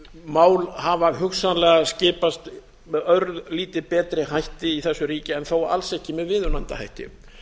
mál hafa hugsanlega skipast með örlítið betri hætti í þessu ríki en þó alls ekki með viðunandi hætti